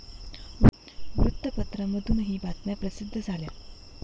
वृत्तपत्रांमधूनही बातम्या प्रसिद्ध झाल्या.